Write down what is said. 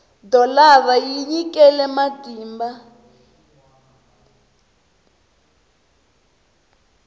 dholara yi tinyikele matimba